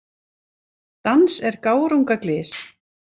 Dans er gárunga glys.